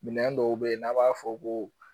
Minɛn dɔw bɛ ye n'a' b'a fɔ ko